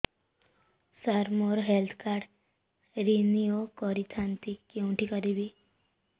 ସାର ମୋର health card renew କରିଥାନ୍ତି କେଉଁଠି କରିବି